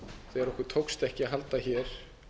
þegar okkur tókst ekki að halda hér